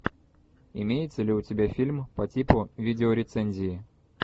имеется ли у тебя фильм по типу видеорецензии